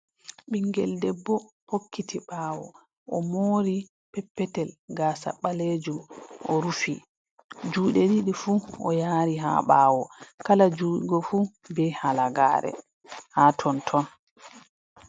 Ɓingel debbo hokkiti ɓaawo, o mori peppetel, gaasa ɓaleejum, o rufi. Juuɗe ɗiɗi fu, o yaari ha ɓaawo. Kala jungo fu be halagaare haa tonton.